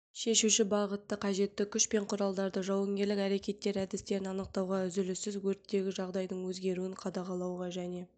шешуші бағытты қажетті күш пен құралдарды жауынгерлік әрекеттер әдістерін анықтауға үзіліссіз өрттегі жағдайдың өзгеруін қадағалауға және